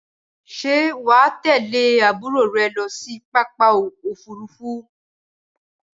Ṣé wà á tẹ̀lé àbúrò rẹ lọ sí pápákọ̀ òfúrufú?